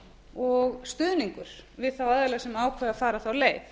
og stuðningur við þá aðila sem ákveða að fara þá leið